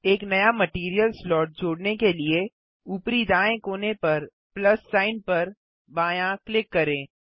एक नया material slot जोड़ने के लिए ऊपरी दायें कोने पर प्लस सिग्न पर बायाँ क्लिक करें